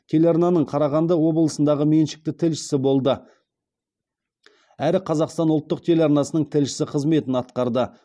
телеарнаның қарағанды облысындағы меншікті тілшісі болды әрі қазақстан ұлттық телеарнасының тілшісі қызметін атқарды